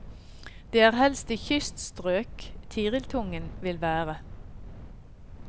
Det er helst i kyststrøk tiriltungen vil være.